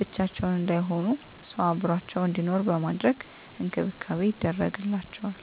ብቻቸውን እንዳይሆኑ ሰው አብሮአቸው እንዲኖር በማድረግ እንክብካቤ ይደረግላቸዋል።